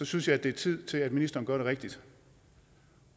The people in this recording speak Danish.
synes jeg at det er tid til at ministeren gør det rigtige